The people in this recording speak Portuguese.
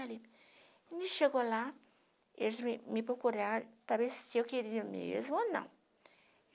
chegou lá, eles me me procuraram para ver se eu queria mesmo ou não.